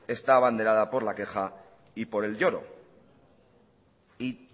está abanderada por la queja y por el lloro y